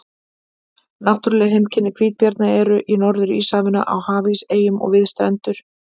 Náttúruleg heimkynni hvítabjarna eru í Norður-Íshafinu, á hafís, eyjum og við strendur.